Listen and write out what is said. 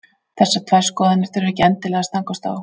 Þessar tvær skoðanir þurfa ekki endilega að stangast á.